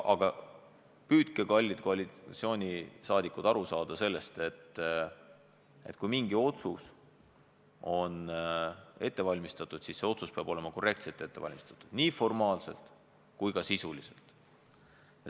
Aga püüdke, kallid koalitsioonisaadikud, aru saada sellest, et kui mingi otsus on ette valmistatud, siis see otsus peab olema korrektselt ette valmistatud nii formaalselt kui ka sisuliselt.